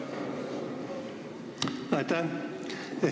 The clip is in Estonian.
Aitäh!